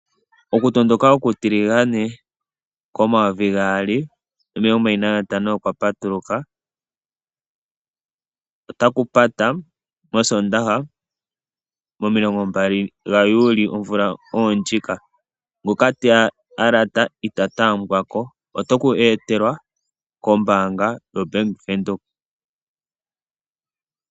Okutondoka okutiligane komayovi gaali nomilongo mbali nantano okwa patuluka notakupata mosoondaha momilongo mbali gaJuli omvula oyo ndjika. Ngoka teya alata ita taambwa ko, oto ku etelwa kombaanga yoBank Windhoek.